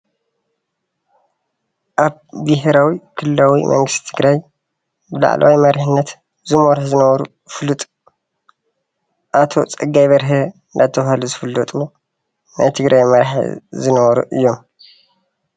ኣብ ቤሄራዊን ክልላዊን መንግስቲ ትግራይ ላዕለዋይ መሪሕነት ዝመርሑ ዝነበሩ ፍሉጥ ኣቶ ፀጋይ በርሀ እንዳተባሃሉ ዝፍለጡ ናይ ትግራይ መራሒ ዝነበሩ እዮም፡፡